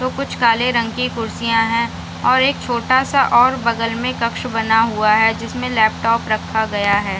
तो कुछ काले रंग की कुर्सियाँ हैं और एक छोटा सा और बगल में कक्ष बना हुआ है जिसमें लैपटॉप रखा गया है।